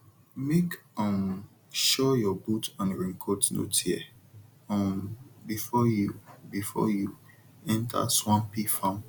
make um sure your boot and raincoat no tear um before you before you enter swampy farm